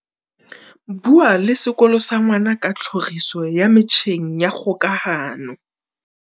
Bua le sekolo sa ngwana ka tlhoriso ya metjheng ya kgokahano.